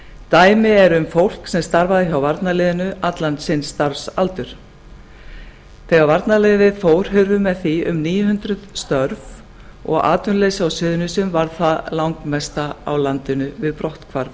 dæmi er um fólk sem starfar hjá varnarliðinu allan sinn starfsaldur þegar varnarliðið fór hurfu með því um níu hundruð störf og atvinnuleysi á suðurnesjum varð það langmesta á landinu við brotthvarf